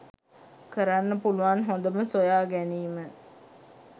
කරන්න පුලුවන් හොඳම සොයා ගැනීම‍.